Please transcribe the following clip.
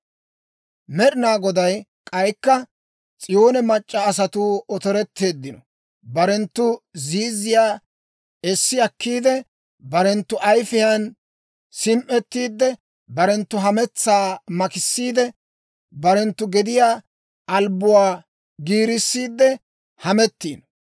Med'inaa Goday K'aykka, «S'iyoone mac'c'a asatuu otoretteeddino; barenttu ziizziyaa essi akkiide, barenttu ayifiyaan sim"ettiidde, barenttu hametsaa makisiidde, barenttu gediyaa albbuwaa giirissiidde hamettiino.